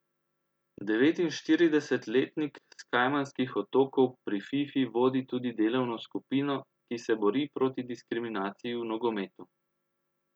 Devetinštiridesetletnik s Kajmanskih otokov pri Fifi vodi tudi delovno skupino, ki se bori proti diskriminaciji v nogometu.